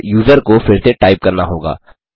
और यूजर को फिर से टाइप करना होगा